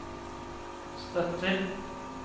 støtter